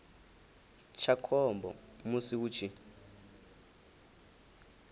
tsha khombo musi hu tshi